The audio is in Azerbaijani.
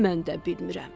Mən də bilmirəm.